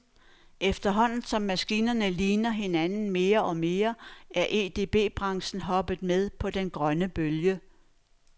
Efterhånden, som maskinerne ligner hinanden mere og mere, er EDB branchen hoppet med på den grønne bølge.